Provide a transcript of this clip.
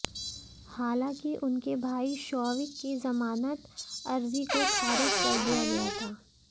हालांकि उनके भाई शोविक की जमानत अर्जी को खारिज कर दिया गया था